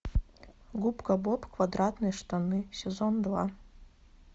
губка боб квадратные штаны сезон два